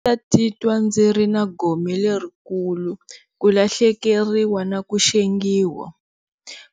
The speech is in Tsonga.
Ndzi ta titwa ndzi ri na gome lerikulu ku lahlekeriwa na ku xengiwa,